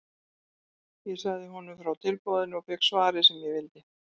Ég sagði honum frá tilboðinu og fékk svarið sem ég vildi.